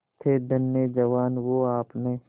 थे धन्य जवान वो आपने